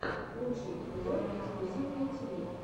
лучший эпизод эксклюзивное тв